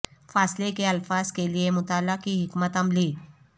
فاصلے کے الفاظ کے لئے مطالعہ کی حکمت عملی